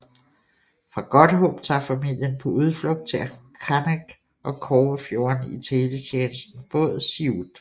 Fra Godthåb tager familien på udflugt til Kangeq og Kobbefjorden i Teletjenestens båd Siut